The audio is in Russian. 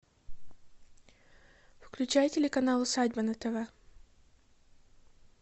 включай телеканал усадьба на тв